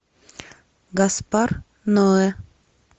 гаспар ноэ